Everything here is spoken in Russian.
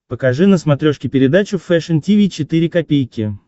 покажи на смотрешке передачу фэшн ти ви четыре ка